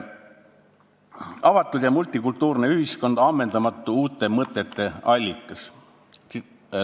Avatud ja multikultuurne ühiskond on ammendamatu uute mõtete allikas.